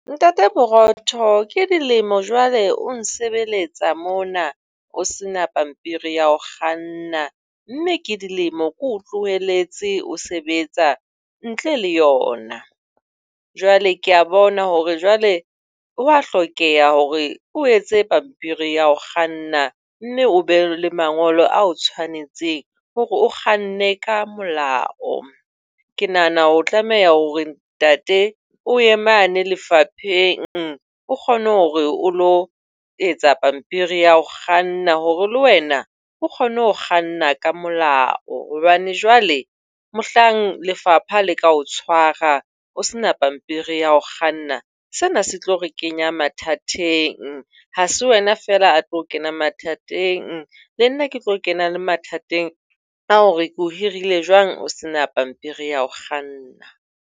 Ntate Borotho, ke dilemo jwale o nsebeletsa mona. O sena pampiri ya ho kganna. Mme ke dilemo ke o tlohelletse o sebetsa ntle le yona. Jwale ke a bona hore jwale ho a hlokeha hore o etse pampiri ya ho kganna. Mme o be le mangolo a o tshwanetseng hore o kganne ka molao. Ke nahana o tlameha hore ntate o ye mane lefapheng o kgone hore o lo etsa pampiri ya ho kganna hore le wena o kgone ho kganna ka molao. Hobane jwale mohlang lefapha le ka o tshwara, o se na pampiri ya ho kganna, sena se tlo re kenya mathateng. Ha se wena feela ya tlo kena mathateng le nna ke tlo kena le mathateng a hore ke o hirile jwang o se na pampiri ya ho kganna.